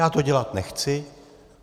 Já to dělat nechci.